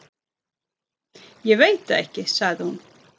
Ég veit það ekki sagði hún.